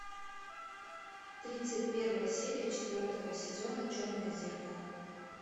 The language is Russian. тридцать первая серия четвертого сезона черное зеркало